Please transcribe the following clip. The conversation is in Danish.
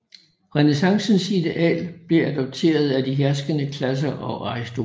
Renæssancens ideal blev adopteret af de herskende klasser og aristokratiet